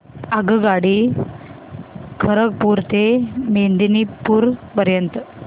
आगगाडी खरगपुर ते मेदिनीपुर पर्यंत